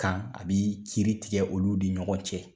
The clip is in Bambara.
Kan a bi kiri tigɛ olu ni ɲɔgɔn cɛ.